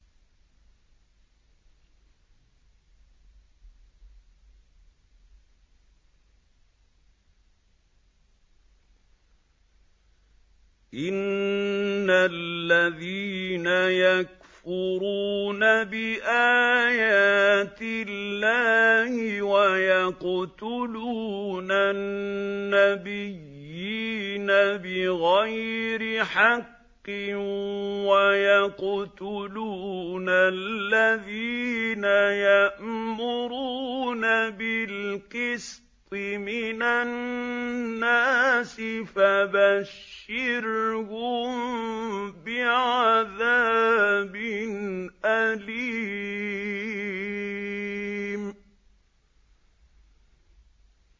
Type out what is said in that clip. إِنَّ الَّذِينَ يَكْفُرُونَ بِآيَاتِ اللَّهِ وَيَقْتُلُونَ النَّبِيِّينَ بِغَيْرِ حَقٍّ وَيَقْتُلُونَ الَّذِينَ يَأْمُرُونَ بِالْقِسْطِ مِنَ النَّاسِ فَبَشِّرْهُم بِعَذَابٍ أَلِيمٍ